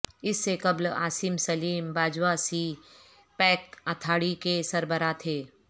اس سے قبل Asim Saleem Bajwa CPEC authority کے سربراہ تھے